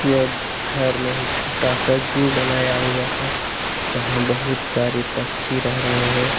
यह घर में ही छोटा सा जू बनाया हुआ है जहां बहुत सारे पक्षी रह रहे हैं।